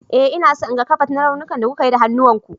Eh, ina so in ga ƙabad na raunin da kuka yi da hannuwan ku.